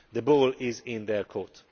The ball is in their court.